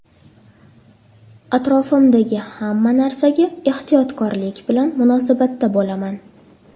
Atrofimdagi hamma narsaga ehtiyotkorlik bilan munosabatda bo‘laman.